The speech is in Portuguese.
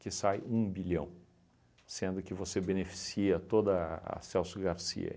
que sai um bilhão, sendo que você beneficia toda a Celso Garcia.